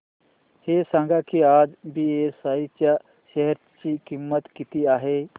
हे सांगा की आज बीएसई च्या शेअर ची किंमत किती आहे